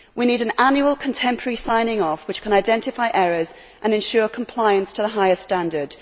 We need an annual contemporary signing off which can identify errors and ensure compliance to the highest standard.